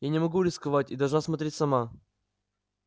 я не могу рисковать и должна смотреть сама